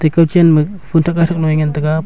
atte kau chenma phunthak laithak lo ee ngantaga.